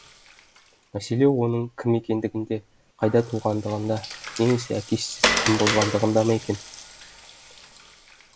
мәселе оның кім екендігінде қайда туғандығында немесе әке шешесі кім болғандығында ма екен